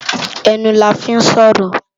Enú làfi n sòrò